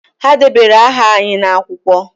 Ha dere aha anyị n'akwụkwọ